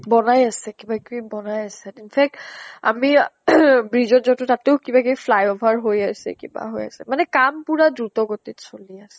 বনাই আছে কিবা কিবি বনাই আছে। in fact আমি bridge ত তাতো কিবা কিবি flyover হৈ আছে, কিবা হৈ আছে । কাম পুৰা দ্ৰুত গতিত চলি আছে।